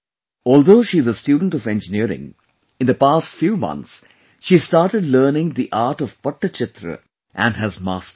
Although she is a student of Engineering, in the past few months, she started learning the art of Pattchitra and has mastered it